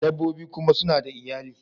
Dabbobi kuma suna da iyali